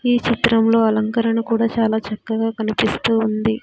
ఈ చిత్రంలో అలంకరణ కూడా చాలా చక్కగా కనిపిస్తూ ఉంది.